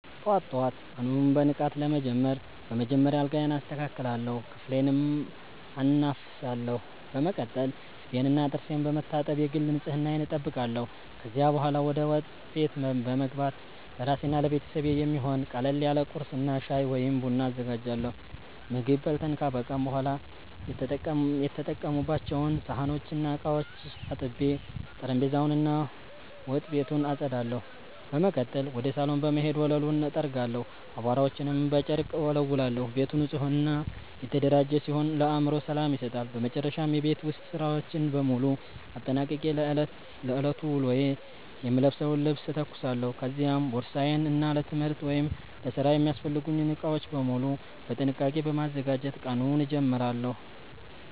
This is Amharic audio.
ጠዋት ጠዋት ቀኑን በንቃት ለመጀመር በመጀመሪያ አልጋዬን አስተካክላለሁ፣ ክፍሌንም አናፍሳለሁ። በመቀጠል ፊቴንና ጥርሴን በመታጠብ የግል ንጽህናዬን እጠብቃለሁ። ከዚያ በኋላ ወደ ወጥ ቤት በመግባት ለራሴና ለቤተሰቤ የሚሆን ቀለል ያለ ቁርስ እና ሻይ ወይም ቡና አዘጋጃለሁ። ምግብ በልተን ካበቃን በኋላ የተጠቀሙባቸውን ሳህኖችና ዕቃዎች አጥቤ፣ ጠረጴዛውን እና ወጥ ቤቱን አጸዳለሁ። በመቀጠል ወደ ሳሎን በመሄድ ወለሉን እጠርጋለሁ፣ አቧራዎችንም በጨርቅ እወለውላለሁ። ቤቱ ንጹህና የተደራጀ ሲሆን ለአእምሮ ሰላም ይሰጣል። በመጨረሻም የቤት ውስጥ ሥራዎችን በሙሉ አጠናቅቄ ለዕለቱ ውሎዬ የምለብሰውን ልብስ እተኩሳለሁ፤ ከዚያም ቦርሳዬን እና ለትምህርት ወይም ለሥራ የሚያስፈልጉኝን ዕቃዎች በሙሉ በጥንቃቄ በማዘጋጀት ቀኑን እጀምራለሁ።